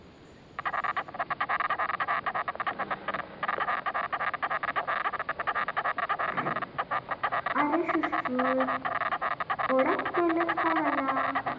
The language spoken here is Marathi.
आरे सुश्रुत ओळख केलस का मला?